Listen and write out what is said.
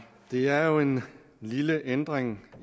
det er jo en lille ændring